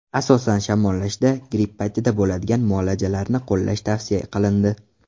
Asosan, shamollashda, gripp paytida bo‘ladigan muoalajalarni qo‘llash tavsiya qilindi.